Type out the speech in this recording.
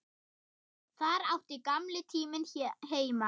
Þar átti gamli tíminn heima.